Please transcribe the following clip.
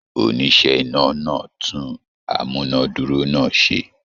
Oníṣẹ́ iná náà tún amúnádúró náà ṣe.